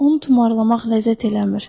Onu tumarlamaq ləzzət eləmir.